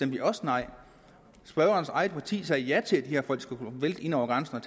vi også nej spørgerens eget parti sagde ja til at de her folk skulle kunne vælte ind over grænsen og